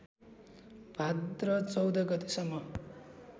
भाद्र १४ गतेसम्म